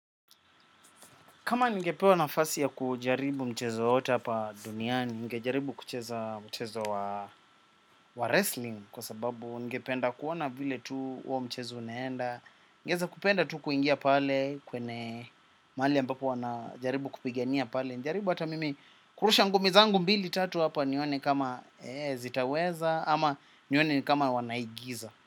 Kama ningepewa nafasi ya kujaribu mchezo wowote hapa duniani, ningejaribu kucheza mchezo wa wrestling kwa sababu ningependa kuona vile tu huo mchezo unaenda, ningeweza kupenda tu kuingia pale kwenye mahali ambapo wanajaribu kupigania pale. Nijaribu hata mimi kurusha ngumi zangu mbili tatu hapa nione kama zitaweza ama nione kama wanaigiza.